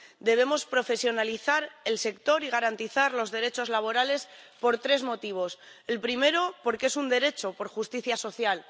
Debemos profesionalizar el sector y garantizar los derechos laborales por tres motivos el primero, porque es un derecho, por justicia social